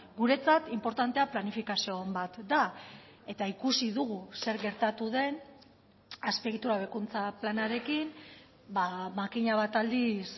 guretzat inportantea planifikazio on bat da eta ikusi dugu zer gertatu den azpiegitura hobekuntza planarekin makina bat aldiz